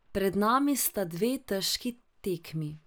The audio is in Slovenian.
Pred nami sta dve težki tekmi.